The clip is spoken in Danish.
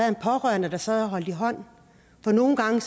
en pårørende der sad og holdt i hånd for nogle gange